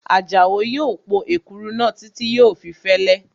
Àjàó yóò po èkuru náà títí yóò fi fẹ́lẹ́